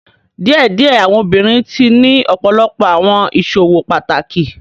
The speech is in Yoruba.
Diẹdiẹ awọn obinrin tii ni ọpọlọpọ awọn iṣowo pataki